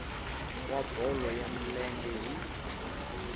wa bolo ya milenge hi